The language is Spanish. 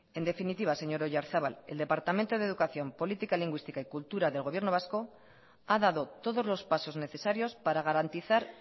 en definitiva señor oyarzabal el departamento de educación política lingüística y cultura del gobierno vasco ha dado todos los pasos necesarios para garantizar